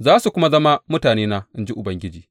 za su kuma zama mutanena, in ji Ubangiji.